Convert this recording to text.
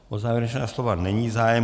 O závěrečná slova není zájem.